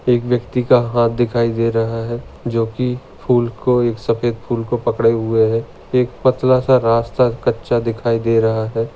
एक व्यक्ति का हात दिखाई दे रहा है जो की फूल को एक सफ़ेद फूल को पकड़े हुए है एक पतला सा रास्ता कच्चा दिखाई दे रहा है।